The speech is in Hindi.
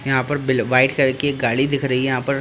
यहां पर बिलो व्हाइट कलर की एक गाड़ी दिख रही है यहां पर।